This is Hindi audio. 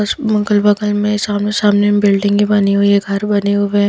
अस मअगल बगल में सामने सामने बिल्डिंगे बनी हुई है घर बने हुए हैं।